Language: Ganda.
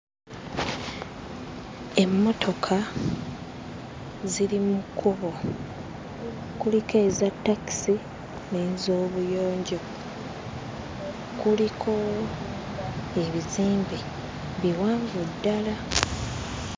Emmotoka ziri mu kkubo kuliko eza takisi n'ezoobuyonjo kuliko ebizimbe biwanvu ddala.